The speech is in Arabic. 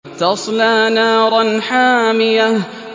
تَصْلَىٰ نَارًا حَامِيَةً